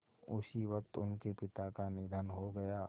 उसी वक़्त उनके पिता का निधन हो गया